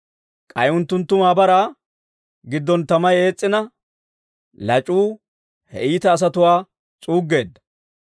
K'ay unttunttu maabaraa giddon tamay ees's'ina, lac'uu he iita asatuwaa s'uuggeedda.